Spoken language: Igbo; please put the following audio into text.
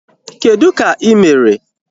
Kedụ ka ị mere?